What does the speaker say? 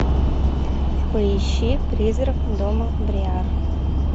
поищи призрак дома бриар